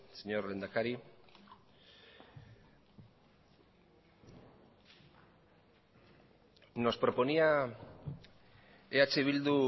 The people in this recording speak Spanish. señor lehendakari nos proponía eh bildu